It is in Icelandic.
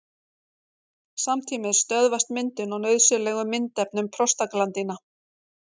Samtímis stöðvast myndun á nauðsynlegum myndefnum prostaglandína.